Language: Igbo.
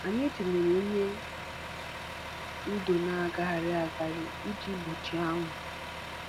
Anyị tinyere ihe ndo na-agagharị agagharị iji gbochie anwụ.